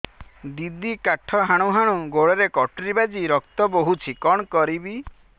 ଦିଦି କାଠ ହାଣୁ ହାଣୁ ଗୋଡରେ କଟୁରୀ ବାଜି ରକ୍ତ ବୋହୁଛି କଣ କରିବି